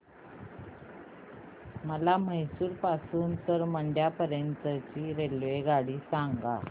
मला म्हैसूर पासून तर मंड्या पर्यंत ची रेल्वेगाडी सांगा